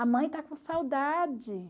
A mãe está com saudade.